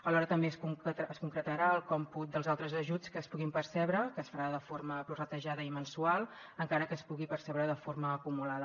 alhora també es concretarà el còmput dels altres ajuts que es puguin percebre que es farà de forma prorratejada i mensual encara que es pugui percebre de forma acumulada